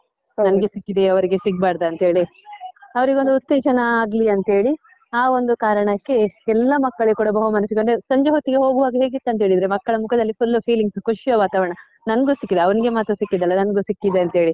ಓ ನಂಗೆ ಸಿಕ್ಕಿದೆ ಅವ್ರಿಗೆ ಸಿಗ್ಬರ್ದಂತೇಳಿ ಅವ್ರಿಗೊಂದು ಉತ್ತೇಜನ ಆಗ್ಲಿ ಅಂತ ಹೇಳಿ ಆ ಒಂದು ಕಾರಣಕ್ಕೆ ಎಲ್ಲ ಮಕ್ಕಳಿಗೆ ಕೂಡ ಬಹುಮಾನ ಸಿಗುವ, ಅಂದ್ರೆ ಸಂಜೆ ಹೊತ್ತಿಗೆ ಹೋಗುವಾಗ ಹೇಗಿರ್ತದಂತ ಹೇಳಿದ್ರೆ ಮಕ್ಕಳ ಮುಖದಲ್ಲಿ full feelings ಖುಷಿಯ ವಾತಾವರಣ ನನ್ಗೂ ಸಿಕ್ಕಿದೆ ಅವನಿಗೆ ಮಾತ್ರ ಸಿಕ್ಕಿದ್ದಲ್ಲ ನನ್ಗೂ ಸಿಕ್ಕಿದೆ ಅಂತ ಹೇಳಿ.